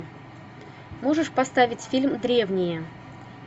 можешь поставить фильм древние